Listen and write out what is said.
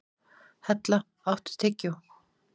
Hella, áttu tyggjó?